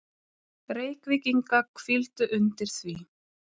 Reykvíkinga hvíldu undir því.